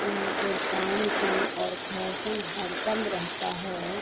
यहाँ पर दाम कम और फैशन हर दम रहता है।